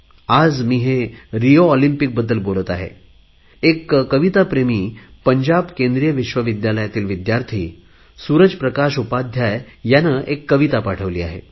आज मी हे रिओ ऑलिम्पिकबद्दल बोलत आहे एक कविता प्रेमी पंजाब केंद्रीय विश्वविद्यालयातील विद्यार्थी सुरज प्रकाश उपाध्याय याने एक कविता पाठवली आहे